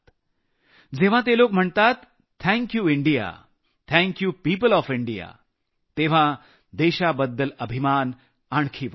जेव्हा ते लोक म्हणतात thank you India thank you people of India तेव्हा देशाबद्दल अभिमान आणखी वाढतो